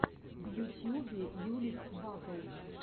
в ютьюбе юлик батл